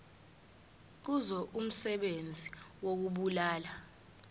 kuzo umsebenzi wokubulala